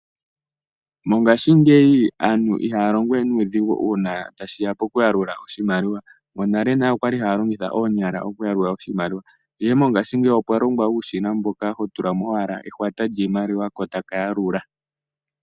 Mongashingeyi aantu ihaya longo we nuudhigu una ta shiya mpo ku yalula oshimaliwa. Monalenale okwa li haya longitha oonyala okuyalula oshimaliwa. Ihe mongashingeyi opwa longwa uushina mboka ho tula mo owala ehwata lyiimaliwa ko taka yalula.